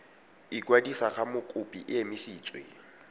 ikwadisa ga mokopi e emisitswe